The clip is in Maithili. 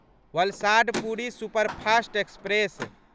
Valsad Puri superfast express